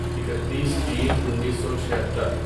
اکتیس تین انیسو چھہتر